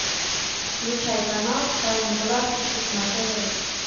включай канал тайны галактики на тв